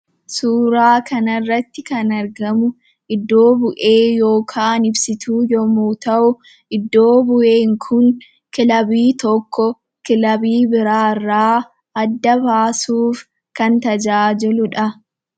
Suuraa kanarratti kan argamu iddo bu'ee yookaan ibsituu yommuu ta'u, iddo bu'een kun kilabii tokko, kilabii biraarraa adda baasuuf kan tajaajiludha.